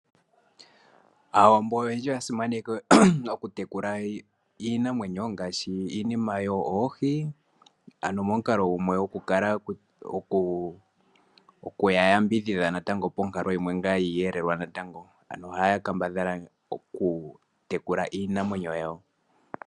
Aawambo oyendji oya simaneke okutekula iinamwenyo ngaashi iinima yoo oohi, ano momukalo gumwe gokukala okuyambidhidha natango ponkalo yiiyelelwa natango. Ohaya kambadhala okutekula iinamwenyo yawo.